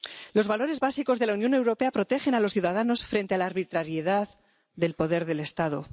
Los valores básicos de la Unión Europea protegen a los ciudadanos frente a la arbitrariedad del poder del Estado.